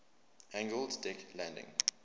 angled deck landing